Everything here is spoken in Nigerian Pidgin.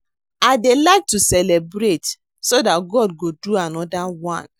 I dey like to celebrate so dat God go do another one